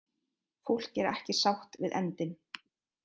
Fólk er ekki sátt við endinn